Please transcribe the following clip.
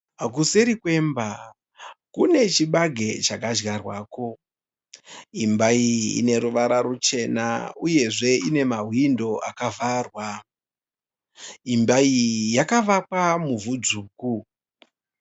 Kuseri kwemba kune chibage chakadyarwako. Imba iyi ine ruvara ruchena uyezve ine mahwindo akavharwa. Imba iyi yakavakwa muvhu dzvuku.